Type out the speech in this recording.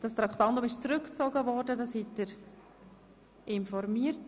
Das Traktandum wurde zurückgezogen, darüber wurden Sie informiert.